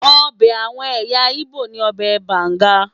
Ọbẹ̀ àwọn ẹ̀yà Igbo ni ọbẹ̀ banga.